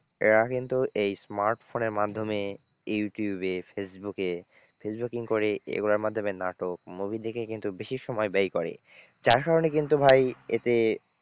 এরা কিন্তু এই smartphone এর মাধ্যমে ইউটিউবে, ফেসবুকে facebooking করে এগুলোর মাধ্যমে নাটক movie দেখে কিন্তু বেশি সময় ব্যয় করে যার কারণে কিন্তু ভাই এতে,